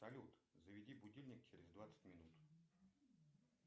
салют заведи будильник через двадцать минут